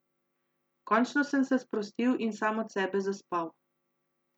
Končno sem se sprostil in sam od sebe zaspal.